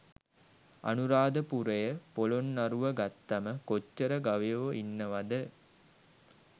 අනුරාධපුරය පොළොන්නරුව ගත්තම කොච්චර ගවයො ඉන්නවද?